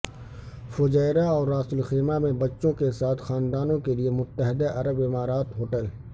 Fujairah اور Ras Al Khaimah میں بچوں کے ساتھ خاندانوں کے لئے متحدہ عرب امارات ہوٹل